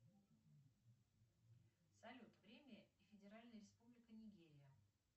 салют время и федеральная республика нигерия